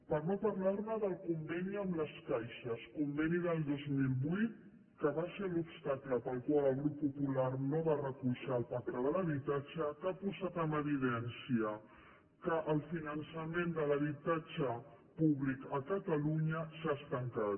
per no parlar del conveni amb les caixes conveni del dos mil vuit que va ser l’obstacle pel qual el grup popular no va recolzar el pacte de l’habitatge que ha posat en evidència que el finançament de l’habitatge públic a catalunya s’ha estancat